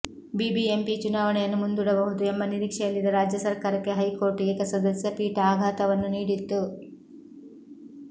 BBMP ಚುನಾವಣೆಯನ್ನು ಮುಂದೂಡಬಹುದು ಎಂಬ ನಿರೀಕ್ಷೆಯಲ್ಲಿದ್ದ ರಾಜ್ಯ ಸರ್ಕಾರಕ್ಕೆ ಹೈಕೋರ್ಟ್ ಏಕಸದಸ್ಯ ಪೀಠ ಆಘಾತವನ್ನು ನೀಡಿತ್ತು